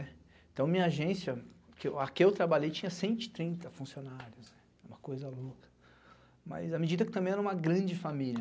Então, minha agência, a que eu trabalhei tinha cento e trinta funcionários, uma coisa louca, mas à medida que também era uma grande família.